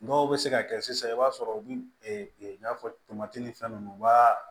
Dɔw bɛ se ka kɛ sisan i b'a sɔrɔ u y'a fɔ tomati ni fɛn ninnu u b'a